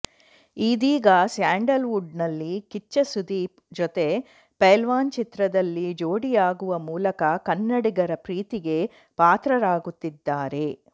ಇದೀಗಾ Sandalwood ನಲ್ಲಿ ಕಿಚ್ಚ ಸುದೀಪ್ ಜೊತೆ ಪೈಲ್ವಾನ್ ಚಿತ್ರದಲ್ಲಿ ಜೋಡಿಯಾಗುವ ಮೂಲಕ ಕನ್ನಡಿಗರ ಪ್ರೀತಿಗೆ ಪಾತ್ರರಾಗುತ್ತಿದ್ದಾರೆ